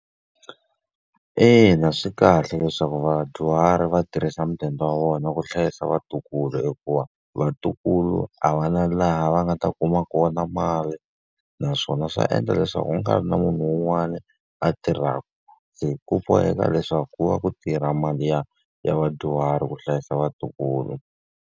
Ina swi kahle leswaku vadyuhari va tirhisa mudende wa vona ku hlayisa vatukulu hikuva, vatukulu a va na laha va nga ta kuma kona mali. Naswona swa endla leswaku a ka ha ri na munhu un'wana a tirhaka. Se ku boheka leswaku ku va ku tirha mali ya ya vadyuhari ku hlayisa vatukulu.